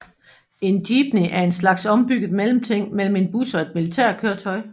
En Jeepney er en slags ombygget mellemting mellem en bus og et militærkøretøj